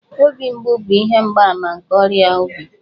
Obi mgbu bụ ihe mgbaàmà nke ọrịa obi